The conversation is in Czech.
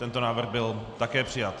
Tento návrh byl také přijat.